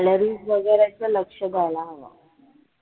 Calories वैगरेचं लक्ष द्यायला हवं